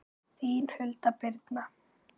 Þín Hulda Birna.